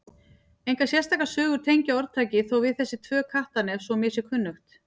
Engar sérstakar sögur tengja orðtakið þó við þessi tvö Kattarnef svo mér sé kunnugt.